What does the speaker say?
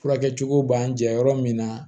Furakɛ cogo b'an jɛ yɔrɔ min na